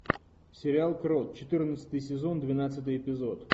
сериал крот четырнадцатый сезон двенадцатый эпизод